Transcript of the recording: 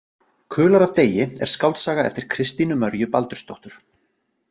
Kular af degi er skáldsaga eftir Kristínu Mörju Baldursdóttur.